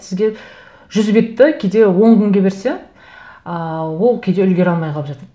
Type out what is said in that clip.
сізге жүз бетті кейде он күнге берсе ыыы ол кейде үлгере алмай қалып жатады